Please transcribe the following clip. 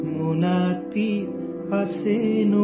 कुम्हार दादा झोला लेकर आये हैं